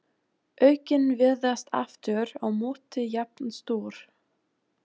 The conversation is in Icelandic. Augun virðast aftur á móti jafn stór.